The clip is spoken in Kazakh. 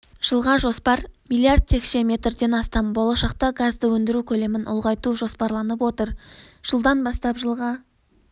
жылға жоспар миллиард текше метрден астам болашақта газды өндіру көлемін ұлғайту жоспарланып отыр жылдан бастап жылға